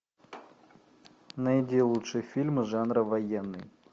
найди лучшие фильмы жанра военный